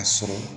A sɔrɔ